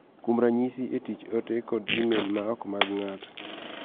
Kuom ranyisi, e tich, ote kod e-mail ma ok mag ng�ato